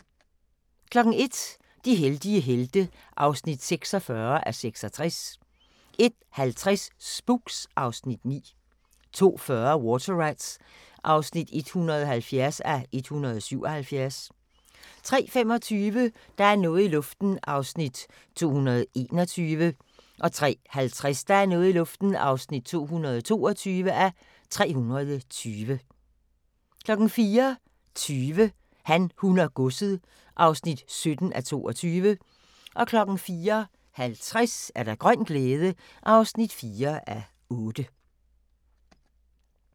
01:00: De heldige helte (46:66) 01:50: Spooks (Afs. 9) 02:40: Water Rats (170:177) 03:25: Der er noget i luften (221:320) 03:50: Der er noget i luften (222:320) 04:20: Han, hun og godset (17:22) 04:50: Grøn glæde (4:8)